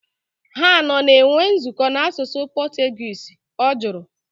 Ha anọ na-enwe nzukọ na asụsụ Portuguese? Ọ jụrụ